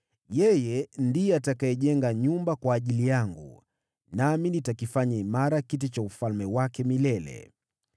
Yeye ndiye atakayejenga nyumba kwa ajili yangu, nami nitakifanya imara kiti cha ufalme wake milele.